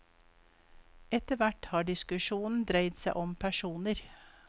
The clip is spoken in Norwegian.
Etterhvert har diskusjonen dreid seg om personer.